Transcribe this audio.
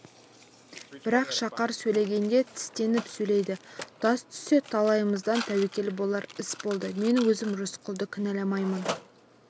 бірақ шақар сөйлегенде тістеніп сөйлейді тас түссе талайымыздан тәуекел болар іс болды мен өзім рысқұлды кінәламаймын